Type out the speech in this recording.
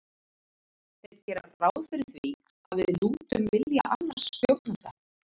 Þeir gera ráð fyrir því að við lútum vilja annars stjórnanda.